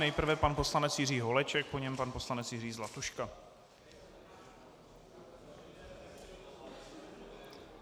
Nejprve pan poslanec Jiří Holeček, po něm pan poslanec Jiří Zlatuška.